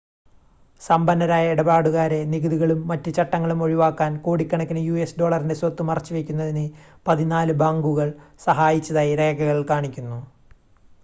സമ്പന്നരായ ഇടപാടുകാരെ നികുതികളും മറ്റ് ചട്ടങ്ങളും ഒഴിവാക്കാൻ കോടിക്കണക്കിന് യുഎസ് ഡോളറിൻ്റെ സ്വത്ത് മറച്ചുവയ്ക്കുന്നതിന് പതിനാല് ബാങ്കുകൾ സഹായിച്ചതായി രേഖകൾ കാണിക്കുന്നു